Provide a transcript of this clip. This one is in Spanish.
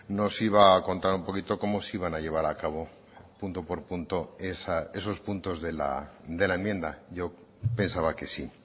nos iba a contar un poquito cómo se iban a llevar a cabo punto por punto esos puntos de la enmienda yo pensaba que sí